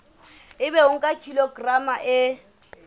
ebe o nka kilograma e